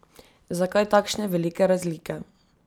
Zakaj takšne velike razlike?